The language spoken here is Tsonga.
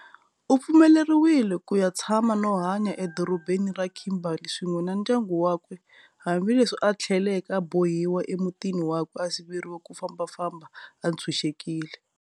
Upfumeleriwe kuya tshama no hanya e dorobheni ra Kimberley swin'we na ndyangu wakwe hambi leswi a thleleke a bohiwa emutini wakwe a siveriwa ku fambafamba a tshunxekile.